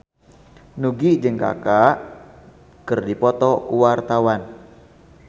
Nugie jeung Kaka keur dipoto ku wartawan